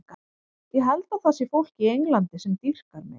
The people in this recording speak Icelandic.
Ég held að það sé fólk í Englandi sem dýrkar mig.